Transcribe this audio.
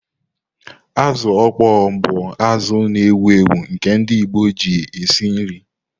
Azu okpoo bụ azụ na-ewu ewu nke ndị Igbo na eji esi nri.